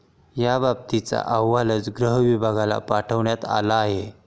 याबाबतचा अहवालच गृहविभागाला पाठवण्यात आला आहे.